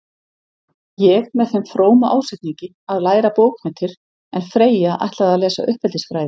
Ég með þeim fróma ásetningi að læra bókmenntir, en Freyja ætlaði að lesa uppeldisfræði.